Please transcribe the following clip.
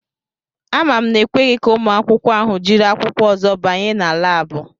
Ama m na ekweghi ka ụmụ akwụkwọ ahụ jiri akwụkwọ ozo banye na Láábu